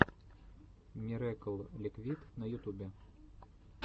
мирэкл ликвид на ютубе